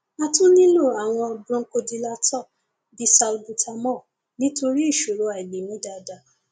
a tún nílò àwọn bronchodilator bí salbutamol nítorí ìṣòro àìlè mí dáadáa